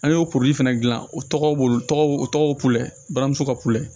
An y'o porole fɛnɛ dilan o tɔgɔ b'o tɔgɔ o tɔgɔ ye balimamuso ka kulɛ